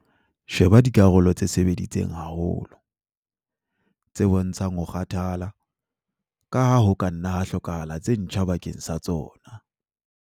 Sheba dikarolo tse sebeditseng haholo, tse bontshang ho kgathala, ka ha ho ka nna ha hlokahala tse ntjha bakeng sa tsona.